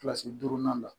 Kilasi duurunan la